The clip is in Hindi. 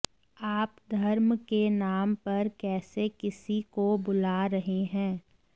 आप धर्म के नाम पर कैसे किसी को बुला रहे हैं